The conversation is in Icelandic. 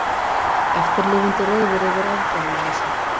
Eftirlifendur reiðir yfir aðgerðarleysi